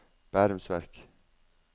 Bærums Verk